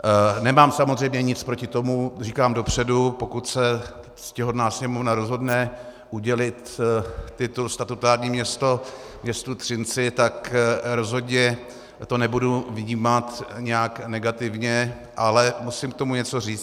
Nemám samozřejmě nic proti tomu, říkám dopředu, pokud se ctihodná Sněmovna rozhodne udělit titul statutární město městu Třinci, tak rozhodně to nebudu vnímat nějak negativně, ale musím k tomu něco říci.